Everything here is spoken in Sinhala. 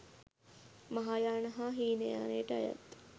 මහායාන හා හීනයානයට අයත්